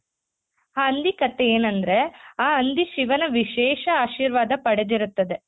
ಆ ಹಂದಿ ಕಥೆ ಎನಂದ್ರೆ ಆ ಹಂದಿ ಶಿವನ ವಿಶೇಷ ಆಶೀರ್ವಾದ ಪಡೆದಿರುತ್ತದೆ.